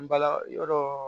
N bala yɔrɔ